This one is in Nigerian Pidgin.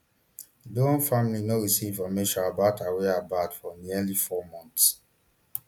doron family no receive information about her whereabouts for nearly four months